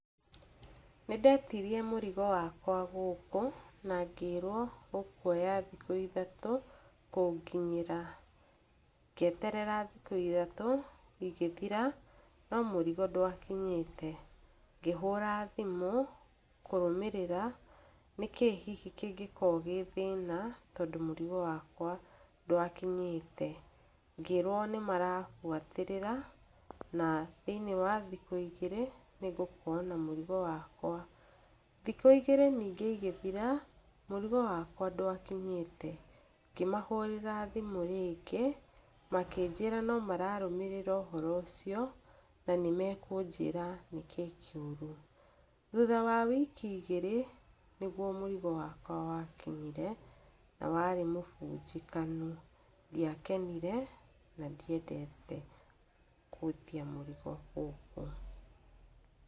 Nĩndetirie mũrigo wakwa gũkũ ma ngĩrwo ũkwoya thikũ ithatũ kũnginyĩra, ngĩeterera thikũ ithatũ igĩthira no mũrigo ndwakinyĩte, ngĩhũra thimũ kũrũmĩrĩra nĩkĩ hihi kĩngĩkorwo gĩ thĩna tondũ mũrigo wakwa ndwakinyĩte, ngĩrwo nĩ marabuatĩrĩra na thĩiniĩ wa thikũ igĩrĩ nĩ ngũkowo na mũrigo wakwa, thikũ igĩrĩ ningĩ igĩthira mũtego wakwa ndwakinyĩte, ngĩmahũrĩra thimu rĩngĩ makĩnjĩra no mararũmĩrĩra ũhoro ũcio na nĩ mekũnjĩra nĩkĩ kĩũru, thutha wa wiki igĩrĩ nĩ guo mũrigp wakwa wakinyire, na warĩ mũbunjĩkanu, ndiakenire na ndĩendete gũthiĩ mũrigo ũguo.